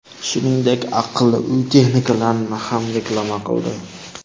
Shuningdek, aqlli uy texnikalarini ham reklama qildi.